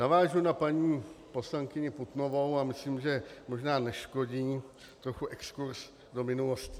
Navážu na paní poslankyni Putnovou a myslím, že možná neškodí trochu exkurz do minulosti.